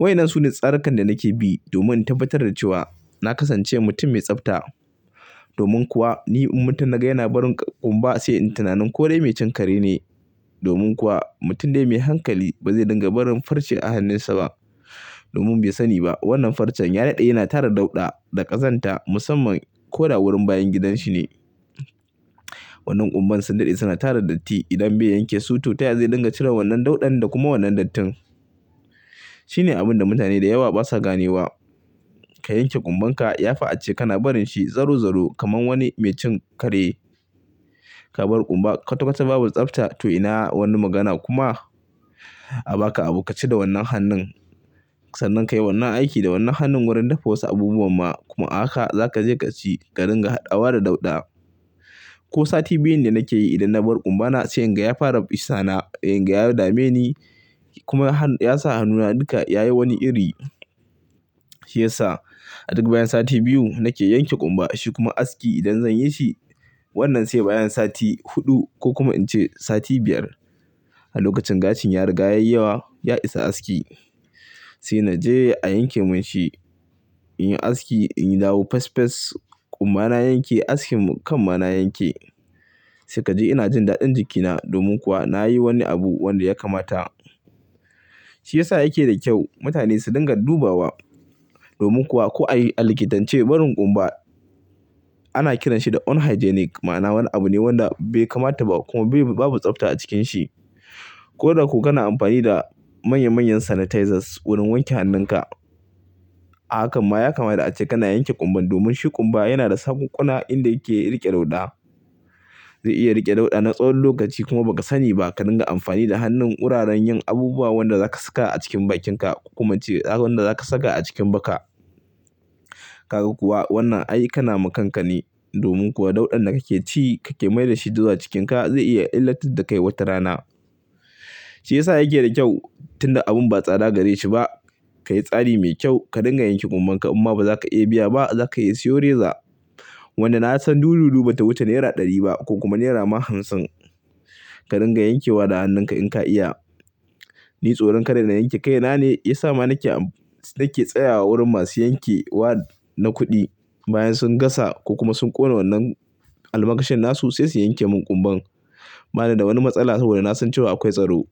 Wainan sune tsarikan da nake bi domin in tabbatar da cewa na kasance mutum mai tsafta. Domin kuwa ni in mutun naga yana barin ƙumba sai in tunanin ko dai mai cin kare ne. Domin kuwa mutum dai mai hankali bazai dinga barin farce a hannunsa ba. Domin bai sani ba wannan farcen ya dade yana tara dauɗa da ƙazanta musamman ko da wurin bayan gidan shi ne. Wannan kumba sun dade suna tara datti idan bai yankesu to taya zai ringa cire wannan daudan da kuma wannan dattin shine abunda mutane da yawa basa ganewa ka yanke kumbanka yafi ace kana barinshi zarozaro kamar wani mai cin kare ka bar kumba kwatakwata babu tsabta to ina wani magana kuma a baka abu kaci da wannan hannun sannan kayi wani aiki da wannan hannun da wasu abubuwan ma ahaka zakaje kaci ka dinga hadawa da dauda ko sati biyun da nake yi idan na bar ƙumba na sai in gaya fara bisa na, in gaya dame ni kuma ya sa hannuna duka ya yi wani iri. Shi yasa a duk bayan sati biyu nake yanke ƙumba. Shikuma aski idan zanyi shi wannan sai bayan sati hudu kokuma ince sati biyar. A lokacin gashin ya riga yayi yawa ya isa aski. Sai na je a yanke mun shi. Inyi aski in dawo fesfes kumba na yanke askin kan ma na yanke sai kaji ina jin dadin jiki na domin kuma nayi wani abu wanda ya kamata. Shi yasa yake da kyau mutane su dinga dubawa. Domin kuwa ko ai alkitance barin ƙumba ana kiran shi da unhygienic ma'ana wani abu ne wanda bai kamata ba kuma babu tsafta a cikin shi. Koda ko kana amfani da manya manyan sanitizers domin wanke hannun kah. Hakan ma ya kamata ace kana yanke ƙumba domin shi ƙumba yana da sakunƙuna inda yake riƙe dauɗa. Zai iya riƙe dauɗa na tsawon lokaci kuma ba ka sani ba ka dinga amfani da hannun wuraren yin abubuwa wanda za ka saka a cikin bakinka kokuma ince tsarin da za ka saka a cikin baka. Kaga kuwa wannan ai kana makanka ne. Domin kuwa dauɗan da kake ci kake mai da shi zuwa cikinka zai iya illatar da kai wata rana. Shiyasa yake da kyau tunda abun ba tsada gareshi bah kayi tsari mai kyau ka dinga yanke kumban ka in kuma bazaka iya biya bah zaka iya siyo rezor wanda na san dududu bata wuce naira ɗari ba ko kuma naira hamsin. Ka dinga yankewa da hannunka in ka iya. Ni tsoron kada na yanke kaina ne yasa ma nike tsayawa wurin masu yanke wa na kudi bayan sun gasa kokuma sun kona wannan almakashin nasu sai su yanke man kumban ba ni da wani matsala saboda na san cewa akwai tsaro.